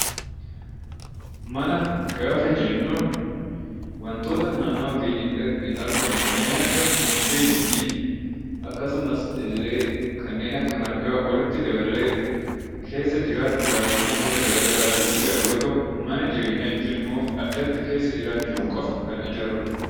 Mana gaafa jennu wantoota naannawaa keenyatti argaman kanneen akka mukeenii fi akkasumas illee kanneen akka margaa walitti daballee keessa jiraachuudhaaf akkasumas illee wantoota gara garaatiif ijaarru yeroo ta'u, mana jireenyaa jechuun immoo addatti keessa jiraachuu qofaaf kan ijaarrudha.